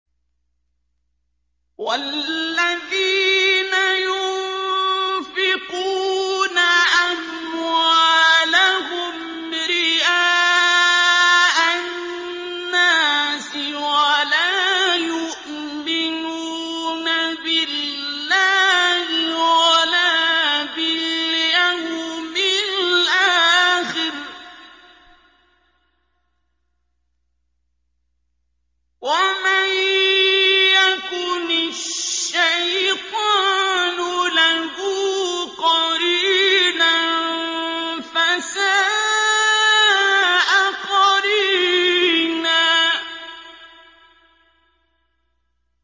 وَالَّذِينَ يُنفِقُونَ أَمْوَالَهُمْ رِئَاءَ النَّاسِ وَلَا يُؤْمِنُونَ بِاللَّهِ وَلَا بِالْيَوْمِ الْآخِرِ ۗ وَمَن يَكُنِ الشَّيْطَانُ لَهُ قَرِينًا فَسَاءَ قَرِينًا